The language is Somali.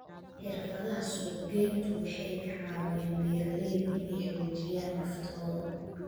Xirfadaha suuqgeyntu waxay ka caawiyaan beeralayda inay xoojiyaan naftooda.